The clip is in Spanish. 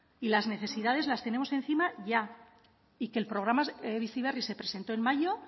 y las necesidades las tenemos encima ya y que el programa bizi berri se presentó en mayo